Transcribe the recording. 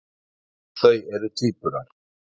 Þau eru tvíburar.